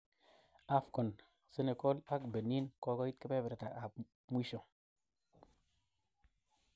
AFCON: Senegal ak Benin kokoit kepeperta ab mwisho.